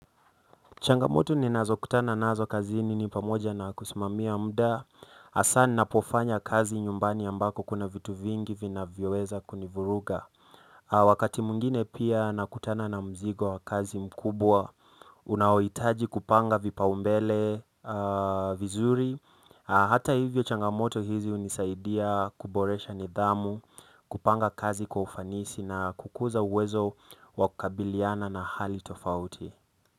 Changamoto ninazokutana nazo kazini ni pamoja na kusimamia muda, hasa ninapofanya kazi nyumbani ambako kuna vitu vingi vinavyoweza kunivuruga. Wakati mwingine pia nakutana na mzigo kazi mkubwa, unaohitaji kupanga vipaumbele vizuri, hata hivyo changamoto hizi hunisaidia kuboresha nidhamu, kupanga kazi kwa ufanisi na kukuza uwezo wa kukabiliana na hali tofauti.